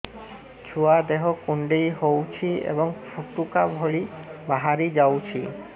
ଛୁଆ ଦେହ କୁଣ୍ଡେଇ ହଉଛି ଏବଂ ଫୁଟୁକା ଭଳି ବାହାରିଯାଉଛି